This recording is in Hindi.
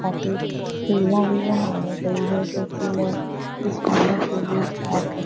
काफी सीढियाँ भी बनाई गई हैं जो कि लोग --